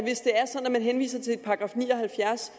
man henviser til § ni og halvfjerds